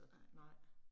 Nej